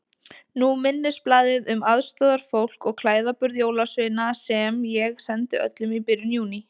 Nú minnisblaðið um aðstoðarfólk og klæðaburð jólasveina sem ég sendi öllum í byrjun Júní.